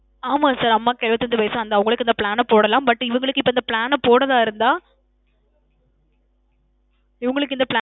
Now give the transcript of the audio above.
ஆமா sir அம்மாக்கு எழுவத்தஞ்சு வயசுல அந்த அவங்களுக்கு இந்த plan அ போடலாம். but இவங்களுக்கு இந்த இப்ப plan அ போன்றதா இருந்தா, இவங்களுக்கு இந்த plan